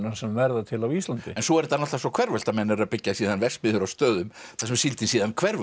sem verða til á Íslandi svo er þetta náttúrulega hverfult að menn eru að byggja síðan verksmiðjur á stöðum þar sem síldin síðan hverfur